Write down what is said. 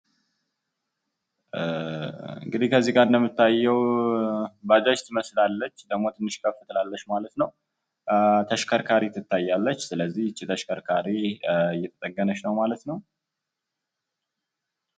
እንግዲ ከዚ ላይ የሚታየው ባጃጅ ትመስላለች። ደግሞ ትንሽ ከፍ ትላለች ማለት ነው። ተሽከርካሪ ትታያለች ስለዚህ እቺ ተሽከርካሪ እየተጠገነች ነው ማለት ነው።